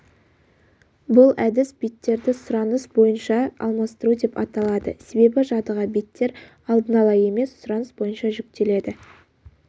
бұл әдіс беттерді сұраныс бойынша алмастыру деп аталады себебі жадыға беттер алдын ала емес сұраныс бойынша жүктеледі